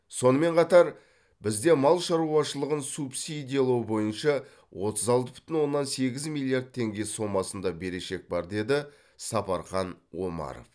сонымен қатар бізде мал шаруашылығын субсидиялау бойынша отыз алты бүтін оннан сегіз миллиард теңге сомасында берешек бар деді сапархан омаров